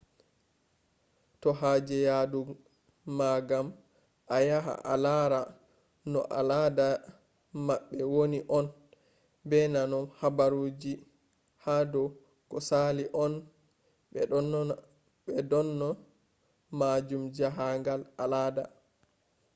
to haje yadu ma gam a ya a lara no aladadi mabbe wani on be nano habaruji hadou ko sali on be do dona majun jahangal al’ada